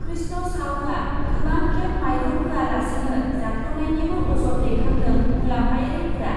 कृष्ण साउआ गोबां खेब माइरं होया लासेनो जाख्ल'नायनिबो अजद दैखांदों मुलाम्फायारिफोरा ।